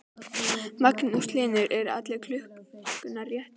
Magnús Hlynur: En eru allar klukkurnar réttar?